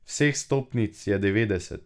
Vseh stopnic je devetdeset.